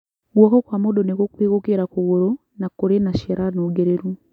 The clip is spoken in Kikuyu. Guoko kwa mũndũ nĩ gũkuhi gũkĩra kũgũrũ, na kũrĩ na ciara nũngĩrĩru.